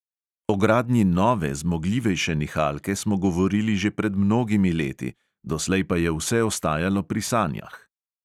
O gradnji nove, zmogljivejše nihalke smo govorili že pred mnogimi leti, doslej pa je vse ostajalo pri sanjah.